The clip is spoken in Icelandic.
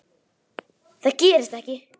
Það gerist ekki,